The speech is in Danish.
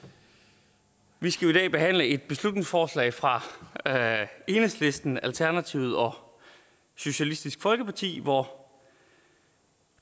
vi skal i dag behandle et beslutningsforslag fra enhedslisten alternativet og socialistisk folkeparti hvor